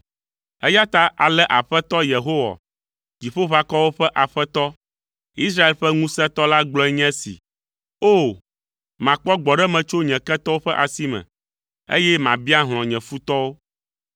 Eya ta ale Aƒetɔ, Yehowa, Dziƒoʋakɔwo ƒe Aƒetɔ, Israel ƒe Ŋusẽtɔ la gblɔe nye esi. “O! Makpɔ gbɔɖeme tso nye ketɔwo ƒe asi me, eye mabia hlɔ̃ nye futɔwo.